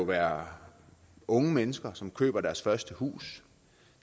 være unge mennesker som køber deres første hus